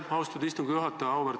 Aitäh, austatud istungi juhataja!